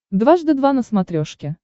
дважды два на смотрешке